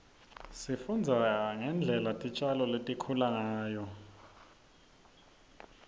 sifundza ngendlela titjalo litikhula ngayo